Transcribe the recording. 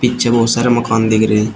पीछे बहोत सारे मकान देख रहे हैं।